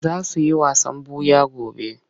Za su yi wasan ɓuya gobe.